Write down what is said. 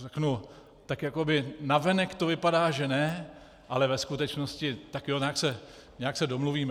Řeknu, tak jakoby navenek to vypadá že ne, ale ve skutečnosti tak jo, nějak se domluvíme.